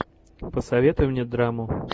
посоветуй мне драму